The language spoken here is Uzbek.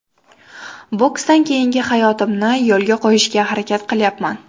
Boksdan keyingi hayotimni yo‘lga qo‘yishga harakat qilyapman.